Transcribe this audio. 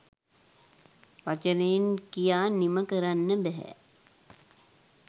වචනයෙන් කියා නිම කරන්න බැහැ.